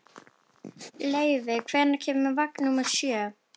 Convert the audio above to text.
Leivi, hvenær kemur vagn númer sjö?